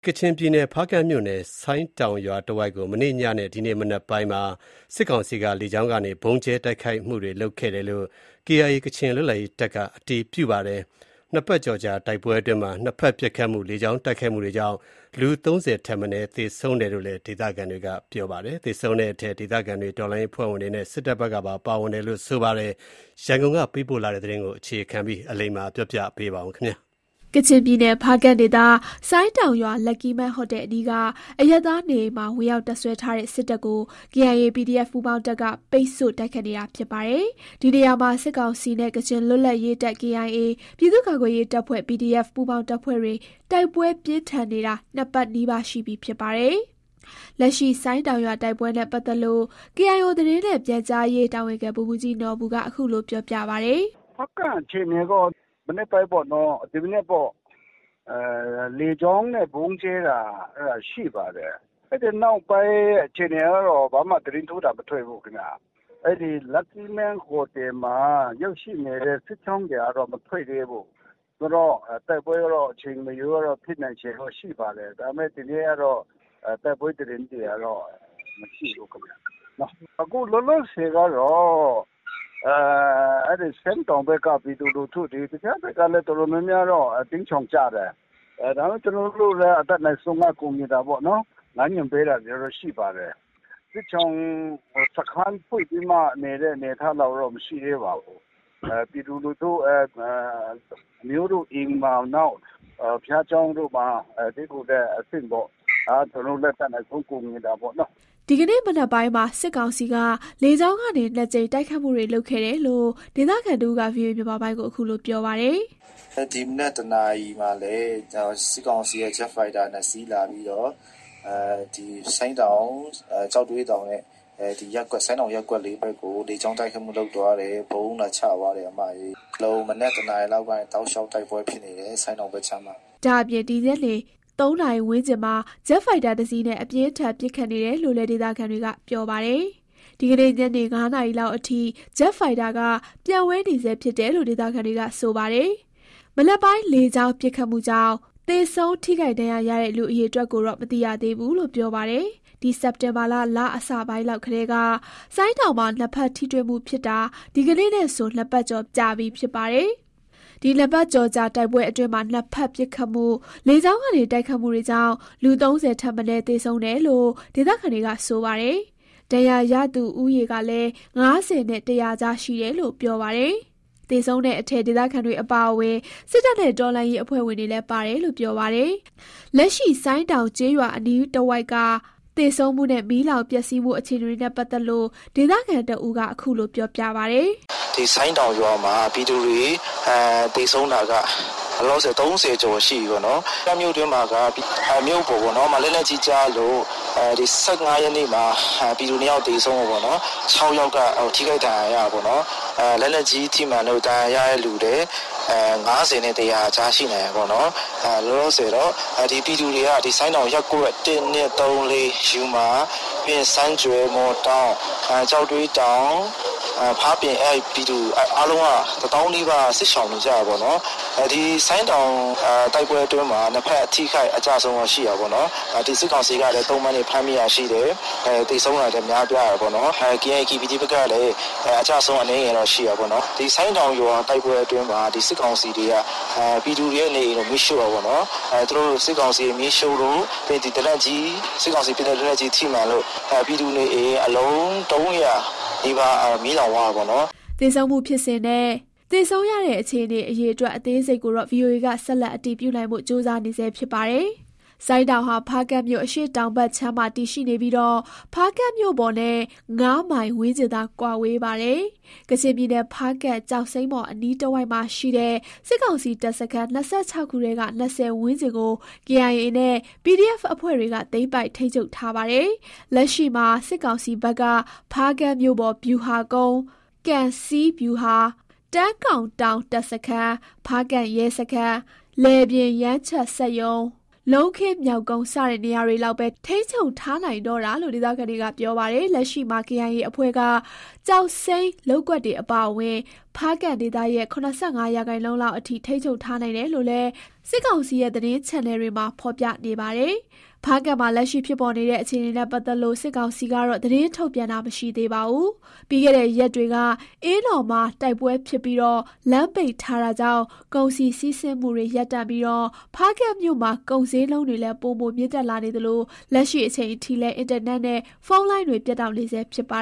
ကချင်ပြည်နယ်၊ ဖားကန့်မြို့ ဆိုင်းတောင်ရွာတဝိုက်ကို မနေ့ညနဲ့ ဒီကနေ့မနက်ပိုင်းတွေမှာ စစ်ကောင်စီက လေကြောင်းကနေ ဗုံးကြဲတိုက်ခိုက်မှုတွေ လုပ်ခဲ့တယ်လို့ KIA ကချင်လွတ်လပ်ရေးတပ်က အတည်ပြု ပြောဆိုပါတယ်။ ၂ပတ်ကျော်ကြာ တိုက်ပွဲအတွင်းမှာ ၂ဖက်ပစ်ခတ်မှု၊ လေကြောင်းကနေ တိုက်ခိုက်မှုတွေကြောင့် လူအယောက် ၃၀ထပ်မနည်း သေဆုံးတယ်လို့လည်း ဒေသခံတွေက ပြောပါတယ်။ သေဆုံးတဲ့အထဲ ဒေသခံတွေ၊ တော်လှန်ရေးအဖွဲ့ဝင်တွေနဲ့ စစ်တပ်ဘက်ကပါ ပါဝင်တယ်လို့ ဆိုပါတယ်။ ဒီအကြောင်း ရန်ကုန်ကပေးပို့တဲ့သတင်းကို တင်ပြပေးပါမယ်။ ကချင်ပြည်နယ်၊ ဖားကန့်ဒေသ ဆိုင်းတောင်ရွာ Lucky Men Hotel အနီးက အရပ်သားနေအိမ်မှာ ဝင်ရောက်တပ်စွဲထားတဲ့ စစ်တပ်ကို KIA/PDF ပူးပေါင်းတပ်က ပိတ်ဆို့ တိုက်ခိုက်နေတာဖြစ်ပါတယ်။ ဒီနေရာမှာ စစ်ကောင်စီနဲ့ ကချင်လွတ်လပ်ရေးတပ်- KIA ၊ ပြည်သူ့ကာကွယ်ရေးတပ်ဖွဲ့ ပူးပေါင်းတပ်ဖွဲ့တွေ တိုက်ပွဲပြင်းထန်နေတာ ၂ပတ်နီးပါး ရှိပြီဖြစ်ပါတယ်။ လက်ရှိဆိုင်းတောင်ရွာတိုက်ပွဲ နဲ့ပတ်သတ်လို့ KIO သတင်းနဲ့ ပြန်ကြားရေး တာဝန်ခံ ဗိုလ်မှူးကြီး နော်ဘူက အခုလို ပြောပြပါတယ်။ "ဖားကန့်အခြေအနေကတော့ မနက်ပိုင်းကတော့ လေကြောင်းနဲ့ ဗုံးကြဲတာရှိပါတယ်။ အဲနောက်ပိုင်းကတော့ ဘာမှသတင်း ထူးတာ မရှိသေးဘူး။ လပ်ကီးမန်း ဟိုတယ်မှာ ရောက်နေတဲ့ စစ်ကြောင်းတွေကတော့ မထွက်သေးဘူး။ အဲတော့ တိုက်ပွဲ ကတော့ အချိန်မရွေးရှိနိုင်ပါတယ်။ ဒီနေ့တော့ ဘာမှထပ်တော့ မသိရသေးဘူး။ ဆိုင်းတောင်ဘက်ကကော တခြားဘက်က ကော တော်တော်များများပြည်သူတွေ တိမ်းရှောင်ကြတယ်။ အတတ်နိုင်ဆုံးကတော့ ကူညီတာပေါ့။ လမ်းညွှန်ပေးတာတွေရှိပါတယ်။ စခန်းဖွင့်နေတာမျိုးတော့ မရှိသေးပါဘူး။ အမျိုးတွေအိမ်မှာ ဘုရားကျောင်းတို့မှာ တည်းခိုတာပေါ့။ ကျနော်တို့ လည်းအတတ်နိုင်ဆုံး ကူညီတာပေါ့။" ဒီကနေ့မနက်ပိုင်းမှာ စစ်ကောင်စီက လေကြောင်းကနေ ၂ကြိမ် တိုက်ခိုက်မှု တွေလုပ်ခဲ့တယ်လို့ ဒေသခံတဦးက ဗွီအိုအေကို ခုလိုပြောပါတယ်။ "ဒီမနက် ၁နာရီမှာလည်း စစ်ကောင်စီက ဂျက်ဖိုက်တာ ၂စီးလာပြီးတော့ ဆိုင်းတောင်၊ ကျောက်သွေးတောင်နဲ့ ဆိုင်းတောင် ရပ်ကွက် ၄ဘက်ကို လေကြောင်းတိုက်ခိုက်မှုတွေ လုပ်ခဲ့တယ်။ ဗုံးလာကြဲခဲ့တယ်။ မနက် ၁နာရီလောက်ကနေ တိုက်ပွဲဖြစ်နေတာ တောက်လျှောက်ဘဲ။" ဒါ့အပြင် ဒီညနေ ၃ နာရီဝန်းကျင်မှာ ဂျက်ဖိုက်တာတစ်စီးနဲ့ အပြင်းထန် ပစ်ခတ်ပစ်ခတ်နေတယ်လို့လည်း ဒေသခံတွေပြောပါတယ်။ ဒီကနေ့ ညနေ ၅နာရီလောက်အထိ ဂျက်ဖိုက်တာ ပျံဝဲနေဆဲဖြစ်တယ်လို့ ဒေသခံတွေက ပြောပါတယ်။ မနက်ပိုင်း လေကြောင်းပစ်ခတ်မှုကြောင့် သေဆုံးထိခိုက်ဒဏ်ရာရတဲ့ လူအရေအတွက်ကိုတော့ မသိရသေးဘူးလို့ ပြောပါ တယ်။ ဒီစက်တင်ဘာလ အစလောက်ကတည်းက ဆိုင်းတောင်မှာ ၂ဖက် ထိတွေ့မှုဖြစ်တာ ဒီကနေ့နဲ့ဆို ၂ပတ်ကျော်ကြာပြီဖြစ် ပါတယ်။ ဒီ၂ပတ်ကျော်ကြာ တိုက်ပွဲအတွင်းမှာ ၂ဖက်ပစ်ခတ်မှု၊ လေကြောင်းကနေ တိုက်ခိုက်မှုတွေကြောင့် လူ ၃၀ထပ် မနည်း သေဆုံးတယ်လို့ ဒေသခံတွေက ပြောပါတယ်။ ဒဏ်ရာရသူဦးရေကလည်း ၅၀နဲ့ ၁၀၀ကြားရှိနေတယ်လို့ ဆိုပါတယ်။ သေဆုံးတဲ့အထဲ ဒေသခံတွေ အပါအဝင် စစ်တပ်နဲ့ တော်လှန်ရေးအဖွဲ့ဝင်တွေလည်း ပါတယ်လို့ ပြောပါတယ်။ လက်ရှိ ဆိုင်းတောင်ကျေးရွာအနီးတဝိုက်က သေဆုံးမှုနဲ့ မီလောင်ပျက်ဆီးမှု အခြေအနေတွေနဲ့ပတ်သက်လို့ ဒေသခံတစ်ဦးက အခုလို ပြောပြပါတယ်။ "ဆိုင်းတောင်ရွာမှာက ပြည်သူတွေ သေဆုံးတာက ၃၀ကျော်ရှိနေပြီ။ ဖားကန့်မြို့ပေါ်ပေါ့။ မြို့ထဲကို ၁၅ရက်နေ့လောက်က လက်နက်ကြီးကျလို့ ၂ယောက် သေဆုံးခဲ့တယ်။ ၆ယောက်က ထိခိုက်ဒဏ်ရာရတယ်။ လက်နက်ကြီးကြောင့်ကော ဒဏ်ရာရ တဲ့ဦးရေက ၅၀နဲ့ ၁၀၀ ကြားရှိမယ်။ လောလောဆယ်ပြည်သူတွေက ရပ်ကွက် ၁၊ ၂၊ ၃၊ ၄ ၊ စမ်းကြွယ်၊ မှော်တောင်း၊ ကျောက်သွေးတောင်၊ ဖားပြင် အဲဒီက ပြည်သူ တသောင်းနီးပါး စစ်ရှောင်နေကြရတယ်။ ဆိုင်းတောင်တိုက်ပွဲအတွင်းမှာ ၂ဖက် အထိအခိုက်အကျဆုံး ရှိတာပေါ့။ စစ်ကောင်စီတပ်ဘက်က သုံပန်းကော သေတာကောရှိတယ်။ ကေအိုင်အေ၊ PDF ဘက်ကလည်း ကျတာရှိတယ်။ ဆိုင်းတောင်ရွာတိုက်ပွဲမှာ စစ်ကောင်စီက ပြည်သူတွေ နေအိမ်ကိုမီးရှို့လို့၊ နောက်လက်နက်ကြီးထိလို့ အလုံး ၃၀၀နီးပါး မီးလောင်သွားရတယ်။" သေဆုံးမှုဖြစ်စဉ်နဲ့ သေဆုံးရတဲ့အခြေအနေ အရေအတွက် အသေးစိတ်ကို ဗွီအိုအေက ဆက်လက်အတည်ပြုနိုင်ဖို့ကြိုး စားနေပါတယ်။ ဆိုင်းတောင်ဟာ ဖားကန့်မြို့ အရှေ့တောင်ဘက်ခြမ်းမှာ တည်ရှိပြီး ဖားကန့်မြို့ပေါ်နဲ့ ၅ မိုင်ဝန်းကျင်သာ ကွာဝေးပါတယ်။ ကချင်ပြည်နယ်၊ ဖားကန့် ကျောက်စိမ်းမှော် အနီးတစ်ဝိုက်မှာရှိတဲ့ စစ်ကောင်စီတပ်စခန်း ၂၆ ခုထဲက ၂၀ ဝန်းကျင်ကို KIA နဲ့ PDF အဖွဲ့တွေက သိမ်းပိုက် ထိန်းချုပ်ထားပါတယ်။ လက်ရှိမှာ စစ်ကောင်စီဘက်က ဖားကန့်မြို့ပေါ် ဗျူဟာကုန်း၊ ကံဆီး ဗျူဟာ၊ တန်းကောင်တောင် တပ်စခန်း၊ ဖားကန့် ရဲစခန်း၊ လယ်ပြင် ယမ်းချက်စက်ရုံ၊ လုံးခင်းမျောက်ကုန်း စတဲ့နေရာတွေလောက်ပဲ ထိန်းချုပ်ထားနိုင်တော့တာလို့ ဒေသခံတွေကပြောပါတယ်။ လက်ရှိမှာ KIA အဖွဲ့က ကျောက်စိမ်းလုပ်ကွက်တွေအပါအဝင် ဖားကန့်ဒေသရဲ့ ၇၅ ရာခိုင်နှုန်းလောက်အထိ ထိန်းချုပ်ထားနိုင်တယ်လို့လည်း စစ်ကောင်စီရဲ့ သတင်းချန်နယ်တွေမှာ ဖော်ပြနေကြပါတယ်။ ဖားကန့်မှာ လက်ရှိဖြစ်ပေါ်နေတဲ့ အခြေအနေနဲ့ ပတ်သက်လို့ စစ်ကောင်စီကတော့ သတင်းထုတ်ပြန်တာ မရှိသေးပါဘူး။ ပြီးခဲ့တဲ့ရက်တွေက အင်းတော်မှာ တိုက်ပွဲဖြစ်ပြီး လမ်းပိတ်ထားတာကြောင့် ကုန်စည်စီးဆင်းမှုတွေ ရပ်တန့်ပြီး ဖားကန့်မြို့မှာ ကုန်ဈေးနှုန်းတွေလည်း ပိုမိုမြင့်တက်လာနေသလို လက်ရှိအချိန်အထိလည်း အင်တာနက်နဲ့ ဖုန်းလိုင်းတွေ ပြတ်တောက်နေဆဲ ဖြစ်ပါ